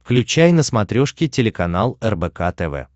включай на смотрешке телеканал рбк тв